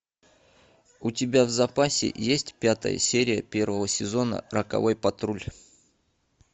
у тебя в запасе есть пятая серия первого сезона роковой патруль